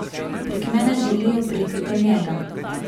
Prek mene želijo priti do njega.